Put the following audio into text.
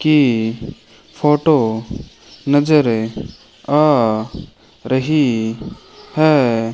की फोटो नजरें आ रही है।